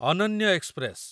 ଅନନ୍ୟ ଏକ୍ସପ୍ରେସ